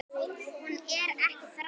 Hún er ekki þræll.